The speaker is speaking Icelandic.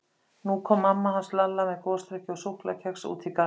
Nú kom mamma hans Lalla með gosdrykki og súkkulaðikex út í garðinn.